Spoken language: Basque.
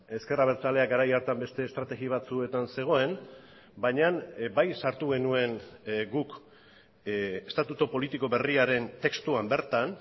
ezker abertzaleak garai hartan beste estrategia batzuetan zegoen baina bai sartu genuen guk estatutu politiko berriaren testuan bertan